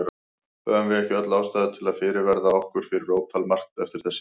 Höfum við ekki öll ástæðu til að fyrirverða okkur fyrir ótal margt eftir þessi ár?